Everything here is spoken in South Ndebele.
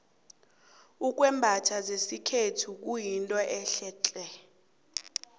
ukwembatha zesikhethu kuyinto ehle tle